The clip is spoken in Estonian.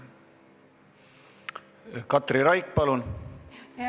Katri Raik, palun!